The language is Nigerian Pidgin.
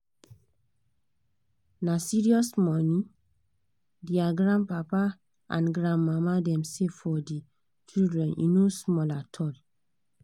na serious money their grandpapa and grandmama dem save for the children e no small at all